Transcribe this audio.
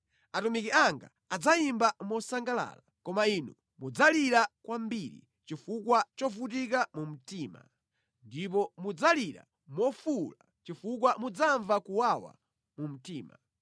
Atumiki anga adzayimba mosangalala, koma inu mudzalira kwambiri chifukwa chovutika mu mtima ndipo mudzalira mofuwula chifukwa mudzamva kuwawa mu mtima.